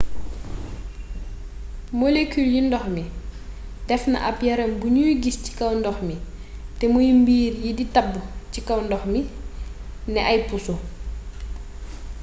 molekul yu ndox mi def na ab yaram bu nuy gis ci kaw ndox mi te muy mey mbir yi di tabb ci kaw ndox mi ne ay puso